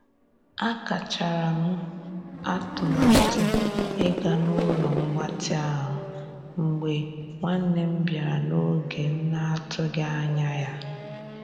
A kachara m atụmatụ ịga n'ụlo mgbatị ahụ mgbe nwanne m bịara n'oge m na- atụghị anya ya.